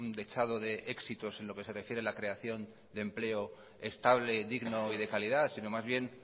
dechado de éxitos en lo que se refiere a la creación de empleo estable digno y de calidad sino más bien